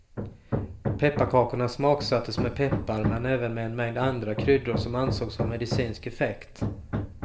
Pepparkakorna smaksattes med peppar men även med en mängd andra kryddor som ansågs ha medicinsk effekt.